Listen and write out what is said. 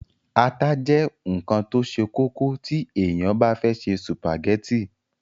ata jẹ́ ǹkan tó se kókó tí èèyàn bá fẹ́ se sùpàgẹ́tì